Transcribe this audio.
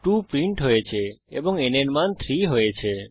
2 print হয়েছে এবং n এর মান 3 হয়েছে